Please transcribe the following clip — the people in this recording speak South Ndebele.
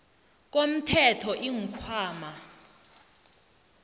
komthelo iinkhwama